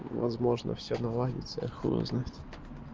возможно всё наладится я хуй его знает